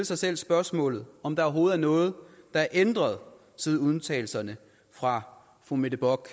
sig selv spørgsmålet om der overhovedet er noget der er ændret siden udtalelserne fra fru mette bock